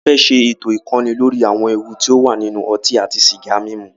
A fẹ́ ṣé ètò ìkọ́ni lóri àwọn ewu ti o wà nínú ọtí àti sìgá mímu.